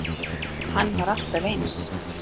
Hann var alltaf eins.